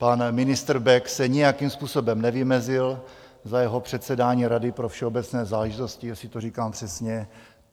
Pan ministr Bek se nijakým způsobem nevymezil za jeho předsedání Rady pro všeobecné záležitosti, jestli to říkám přesně.